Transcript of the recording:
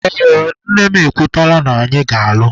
Ee, nne m ekwetela na anyị ga-alụ.